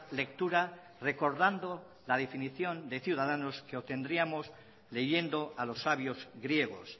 lectura recordando la definición de ciudadanos que obtendríamos leyendo a los sabios griegos